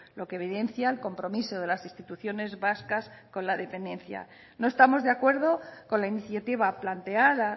lo que evidencia el compromiso de las instituciones vascas con la dependencia no estamos de acuerdo con la iniciativa planteada